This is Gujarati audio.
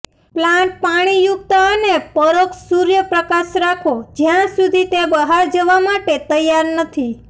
પ્લાન્ટ પાણીયુક્ત અને પરોક્ષ સૂર્યપ્રકાશ રાખો જ્યાં સુધી તે બહાર જવા માટે તૈયાર નથી